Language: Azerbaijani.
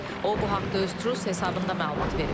O, bu haqda öz Truce hesabında məlumat verib.